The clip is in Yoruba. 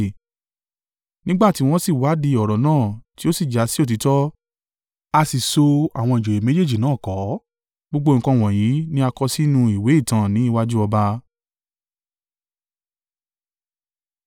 Nígbà tí wọ́n sì wádìí ọ̀rọ̀ náà tí ó sì jásí òtítọ́, a sì so àwọn ìjòyè méjèèjì náà kọ́. Gbogbo nǹkan wọ̀nyí ni a kọ sínú ìwé ìtàn ní iwájú ọba.